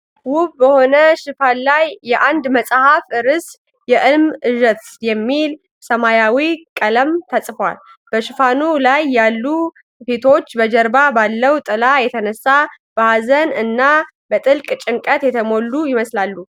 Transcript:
ውብ በሆነ ሽፋን ላይ የአንድ መጽሐፍ ርዕስ "የእልም እዣት" የሚል በሰማያዊ ቀለም ተጽፏል። በሽፋኑ ላይ ያሉ ፊቶች በጀርባ ባለው ጥላ የተነሳ በሀዘን እና በጥልቅ ጭንቀት የተሞሉ ይመስላል።